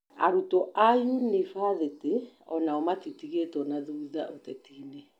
Arutwo a yunibathĩtĩ onao matitigĩtwo thutha ũtetinĩ